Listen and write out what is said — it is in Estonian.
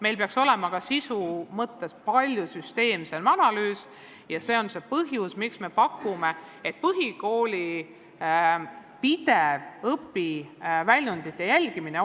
Meil peaks ka sisu mõttes läbi viidama palju süsteemsem analüüs ja see on põhjus, miks me pakume, et põhikoolis oleks parem rakendada pidevat õpiväljundite jälgimist.